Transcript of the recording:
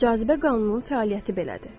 Cazibə qanunun fəaliyyəti belədir.